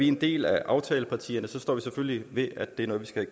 en del af aftalepartierne står vi selvfølgelig ved at det er noget vi skal